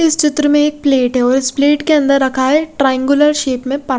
इस चित्र में एक प्लेट है और इस प्लेट के अन्दर रखा है ट्राईगुलर शेप में पा--